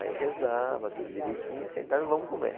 Aí rezava tudo direitinho, sentava e vamos comer.